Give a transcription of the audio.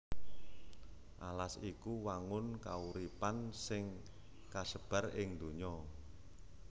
Alas iku wangun kauripan sing kasebar ing donya